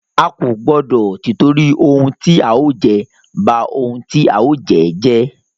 A kò gbọdọ tìtorí ohun tí a ó jẹ, ba ohun tí a ó jẹ́ jẹ́.